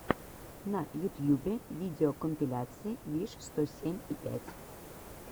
на ютьюбе видеокомпиляция виш сто семь и пять